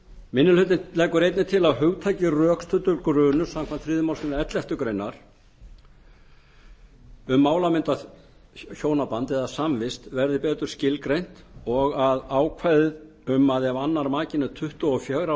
minni hlutinn leggur einnig til að hugtakið rökstuddur grunur samkvæmt þriðju málsgrein elleftu greinar frumvarpsins um málamyndahjónaband eða samvist verði betur skilgreint og að ákvæðið um að ef annar makinn er tuttugu og fjögurra